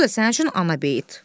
Bu da sənin üçün ana beyi.